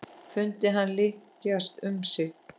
Fundið hann lykjast um sig.